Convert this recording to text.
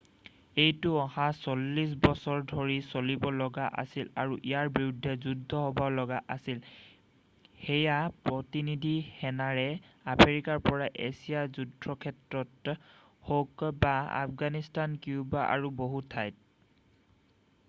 এইটো অহা 40 বছৰ ধৰি চলিব লগা আছিল আৰু ইয়াৰ বিৰুদ্ধে যুদ্ধ হ'ব লগা আছিল সেয়া প্ৰতিনিধি সেনাৰে আফ্ৰিকাৰ পৰা এছিয়াৰ যুদ্ধক্ষেত্ৰত হওক বা আফগানিস্তান কিউবা আৰু বহু ঠাইত।